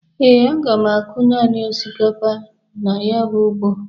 Ee, aga m akụ nanị osikapa na ya bụ ugbo